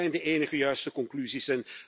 Dat zijn de enige juiste conclusies.